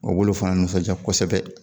O b'olu fana nisɔnja kosɛbɛ